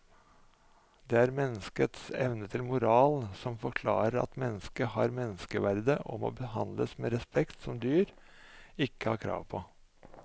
Det er menneskets evne til moral som forklarer at mennesket har menneskeverd og må behandles med en respekt som dyr ikke har krav på.